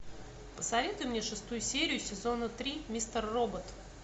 посоветуй мне шестую серию сезона три мистер робот